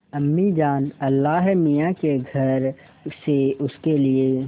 अम्मीजान अल्लाहमियाँ के घर से उसके लिए